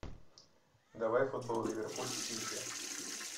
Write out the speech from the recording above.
давай футбол ливерпуль с сити